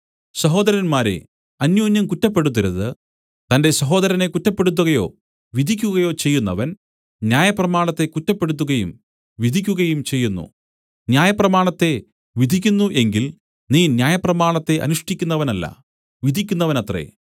സഹോദരന്മാരേ അന്യോന്യം കുറ്റപ്പെടുത്തരുത് തന്റെ സഹോദരനെ കുറ്റപ്പെടുത്തുകയോ വിധിക്കുകയോ ചെയ്യുന്നവൻ ന്യായപ്രമാണത്തെ കുറ്റപ്പെടുത്തുകയും വിധിക്കുകയും ചെയ്യുന്നു ന്യായപ്രമാണത്തെ വിധിക്കുന്നു എങ്കിൽ നീ ന്യായപ്രമാണത്തെ അനുഷ്ഠിക്കുന്നവനല്ല വിധിക്കുന്നവനത്രെ